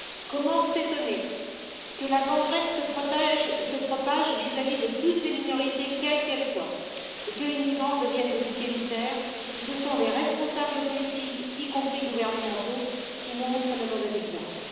Comment s'étonner que la gangrène se propage vis à vis de toutes les minorités, quelles qu'elles soient, et que les migrants deviennent des boucs émissaires, si ce sont les responsables politiques, y compris gouvernementaux, qui montrent le mauvais exemple?